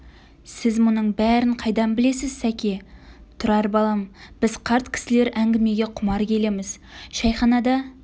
сіз мұның бәрін қайдан білесіз сәке тұрар балам біз қарт кісілер әңгімеге құмар келеміз шәйханада